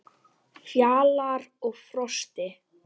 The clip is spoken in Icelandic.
Fjalar og Frosti